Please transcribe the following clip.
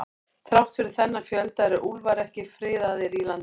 Þrátt fyrir þennan fjölda eru úlfar ekki friðaðir í landinu.